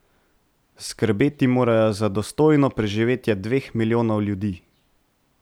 Skrbeti morajo za dostojno preživetje dveh milijonov ljudi.